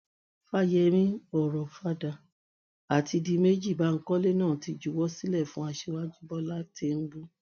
fáyẹmí ọ̀rọ̀fadà àti díméjì báńkọlé náà ti juwọ sílẹ fún aṣíwájú bọlá tinúbú